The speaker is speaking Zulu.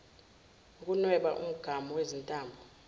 ukunweba umgamu wezintambo